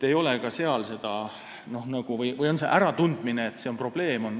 Eks ka seal on alles hiljem tekkinud see äratundmine, et see on probleem.